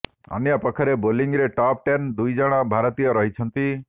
ଅନ୍ୟପକ୍ଷରେ ବୋଲିଂରେ top ten ଦୁଇ ଜଣ ଭାରତୀୟ ରହିଛନ୍ତି